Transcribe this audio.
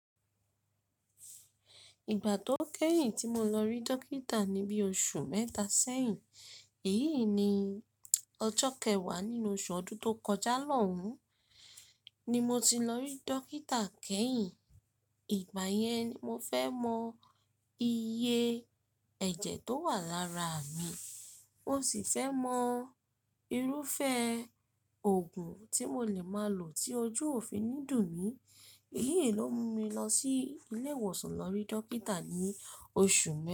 Ìgbà tó kẹ́yìn tí mo lọ rí dókítà ni bí oṣù mẹ́ta sẹ́yìn, èyí ni ọjọ́ kẹwàá nínú oṣù ọdún tó kọjá lọ́hùn, ni mo ti lọ rí dókítà kẹ́yìn. Ìgbà yẹn, mo fẹ́ mọ iye ẹ̀jẹ̀ tó wà lára mi. Mo sì fẹ́ mọ irúfẹ́ òògùn tí mo lè máa lò tí ojú òfin ní dùn mí. Èyí ló mú mi lọ sí ilé ìwòsàn lọ rí dókítà ní oṣù náà.